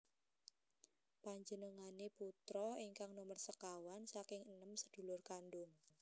Panjenengane putra ingkang nomer sekawan saking enem sedulur kandung